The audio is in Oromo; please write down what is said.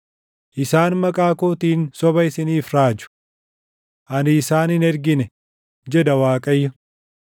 Isaan maqaa kootiin soba isiniif raaju. Ani isaan hin ergine” jedha Waaqayyo.